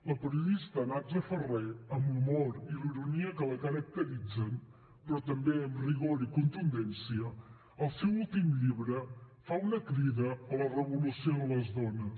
la periodista natza farré amb l’humor i la ironia que la caracteritzen però també amb rigor i contundència al seu últim llibre fa una crida a la revolució de les dones